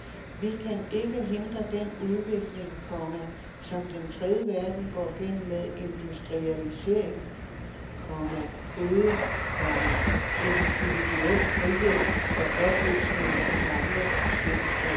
Vi kan ikke hindre den udvikling, komma som den tredje verden går gennem med industrialisering, komma øget, komma individuel frihed og opløsning af gamle fællesskaber. punktum